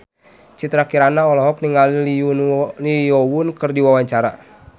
Citra Kirana olohok ningali Lee Yo Won keur diwawancara